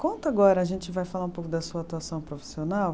Conta agora, a gente vai falar um pouco da sua atuação profissional.